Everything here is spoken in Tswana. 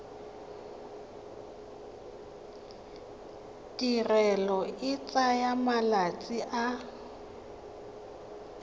tirelo e tsaya malatsi a